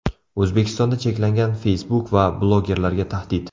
O‘zbekistonda cheklangan Facebook va blogerlarga tahdid.